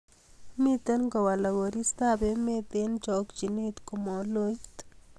Miten kowalak koristob emet eng chakchinet komaloit